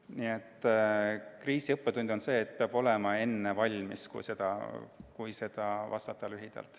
Nii et kriisi õppetund on see, et juba enne peab valmis olema – kui vastata lühidalt.